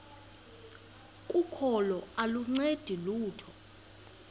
kokholo aluncedi lutho